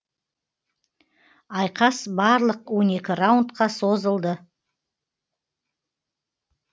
айқас барлық он екі раундқа созылды